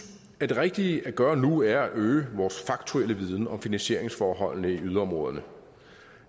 at det rigtige at gøre nu er at øge vores faktuelle viden om finansieringsforholdene i yderområderne